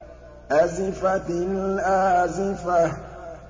أَزِفَتِ الْآزِفَةُ